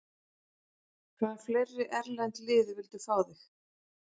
Hvaða fleiri erlend lið vildu fá þig?